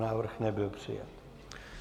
Návrh nebyl přijat.